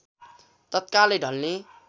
तत्कालै ढल्ने